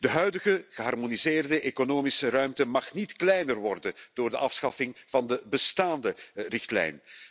De huidige geharmoniseerde economische ruimte mag niet kleiner worden door de afschaffing van de bestaande richtlijn.